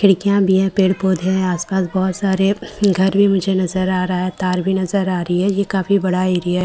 खिड़कियां भी है पेड़ पौधे है आस पास बहोत सारे घर भी मुझे नजर आ रहा है तार भी नजर आ रही है ये काफी बड़ा एरिया --